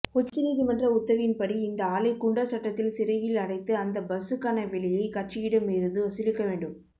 உச்ச நீதிமன்ற உத்தவின்படி இந்த ஆளை குண்டர் சட்டத்தில் சிறையில் அடைத்து அந்த பஸ்சுக்கான விலையை கட்சியிடம் இர்ருந்து வசூலிக்கவேண்டும்